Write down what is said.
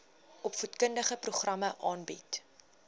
opvoedkundige programme aanbied